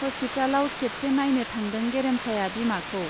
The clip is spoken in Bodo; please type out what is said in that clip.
हस्पितालाव खेबसे नाइनो थांदों गेरेमसाया बिमाखौ।